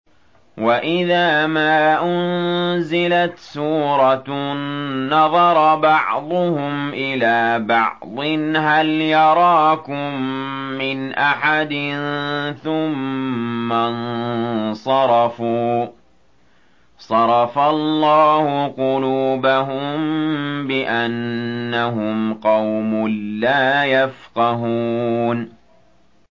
وَإِذَا مَا أُنزِلَتْ سُورَةٌ نَّظَرَ بَعْضُهُمْ إِلَىٰ بَعْضٍ هَلْ يَرَاكُم مِّنْ أَحَدٍ ثُمَّ انصَرَفُوا ۚ صَرَفَ اللَّهُ قُلُوبَهُم بِأَنَّهُمْ قَوْمٌ لَّا يَفْقَهُونَ